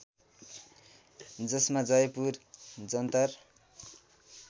जसमा जयपुर जन्तर